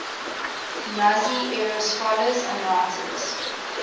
nazi era scholars and writers